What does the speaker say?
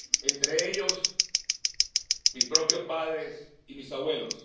Entre ellos, mis propios padres y mis abuelos.